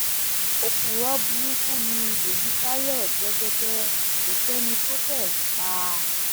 òpùrọ burúkú ni èyítayọ jẹgẹdẹ kó sẹni tó fẹẹ pa á